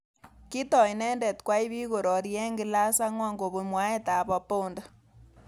Kitoi inendet kwai bik korori eng class angwan kobun mwaet ab Apondi.